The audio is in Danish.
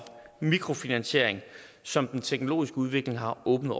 mikrofinansiering som den teknologiske udvikling har åbnet